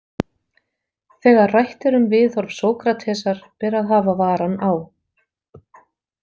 Þegar rætt er um viðhorf Sókratesar ber að hafa varann á.